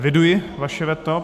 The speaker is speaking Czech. Eviduji vaše veto.